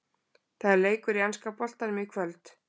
Það er leikur í enska boltanum í kvöld!